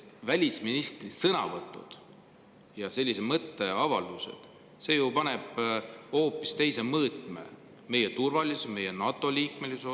Välisministri sõnavõtud ja sellised mõtteavaldused ju hoopis teise mõõtme meie turvalisusele, meie NATO‑liikmesusele.